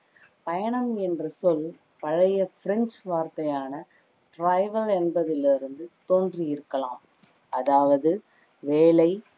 பயணம் என்ற சொல் பழைய french வார்த்தையான travail என்பதில் இருந்து தோன்றி இருக்கலாம் அதாவது வேலை